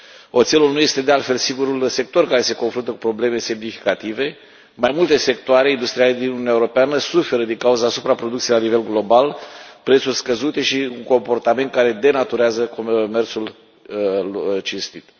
Oțelul nu este, de altfel, singurul sector care se confruntă cu probleme semnificative, mai multe sectoare industriale din Uniunea Europeană suferă din cauza supraproducției la nivel global, prețuri scăzute și un comportament care denaturează mersul cinstit.